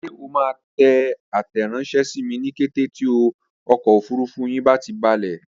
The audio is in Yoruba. Ṣé o máa tẹ àtẹranṣẹ sími ní kété tí ọkọ̀ òfurufú yín bá ti balẹ̀?